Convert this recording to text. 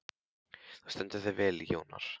Þú stendur þig vel, Jónar!